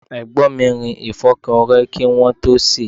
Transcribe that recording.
Egbon mi rin ìfọ́kọrẹ́ kí wọ́n tó sèé.